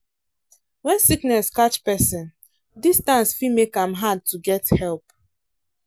when sickness catch person distance fit make am hard to get help.